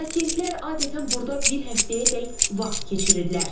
Pasientlər adətən burda bir həftəyədək vaxt keçirirlər.